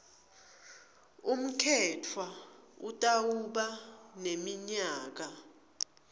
umkhetfwa utawuba neminyaka